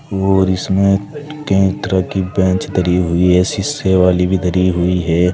और इसमें कई तरह की बेंच धरी हुई है शीशे वाली भी धरी हुई है।